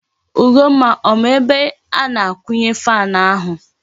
Ugomma ọ ma ebe a na-akwunye fan ahu?